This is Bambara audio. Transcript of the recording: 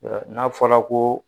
N'a fɔra ko